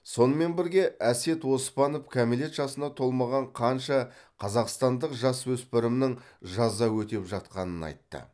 сонымен бірге әсет оспанов кәмелет жасына толмаған қанша қазақстандық жасөспірімнің жаза өтеп жатқанын айтты